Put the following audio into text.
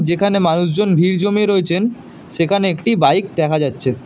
এখানে মানুষজন ভিড় জমিয়ে রয়েছেন সেখানে একটি বাইক দেখা যাচ্ছে।